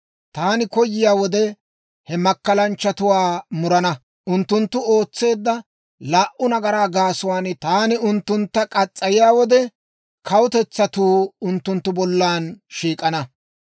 Taani koyiyaa wode, he makkalanchchatuwaa murana. Unttunttu ootseedda laa"u nagaraa gaasuwaan taani unttuntta muriyaa wode, kawutetsatuu unttunttu bollan shiik'ana.